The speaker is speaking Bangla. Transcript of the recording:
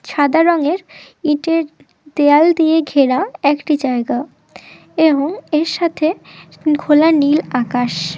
সাদা রঙের ইটের দেয়াল দিয়ে ঘেরা একটি জায়গা এবং এর সাথে ঘোলা নীল আকাশ--